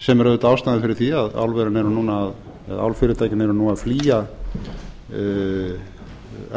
sem er auðvitað ástæðan fyrir því að álfyrirtækin eru nú að flýja